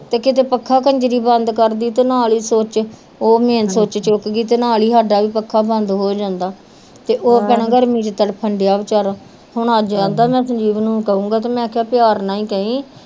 ਤੇ ਕਿਤੇ ਪੱਖਾਂ ਕੰਜਰੀ ਬੰਦ ਕਰਦੀ ਤੇ ਨਾਲ ਹੀ ਸੂਚ ਉਹ ਮੇਨ ਸੂਚ ਚੁੱਕਗੀ ਤੇ ਨਾਲ ਹੀ ਸਾਡਾ ਵੀ ਪੱਖਾਂ ਬੰਦ ਹੋ ਜਾਂਦਾ ਤੜਫਣ ਡੇਆ ਵਚਾਰਾ ਹੁਣ ਅੱਜ ਕਹਿੰਦਾ ਮੈ ਸੰਜੀਵ ਨੂੰ ਕਹੂਗਾ ਮੇਖਾ ਪਿਆਰ ਨਾਲ ਕਹੀ